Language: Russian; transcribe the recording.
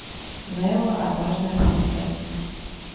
нелла отважная принцесса